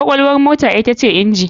Kwakwalwar mota ita ce inji.